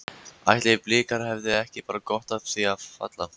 Ætli Blikar hefðu ekki bara gott af því að falla?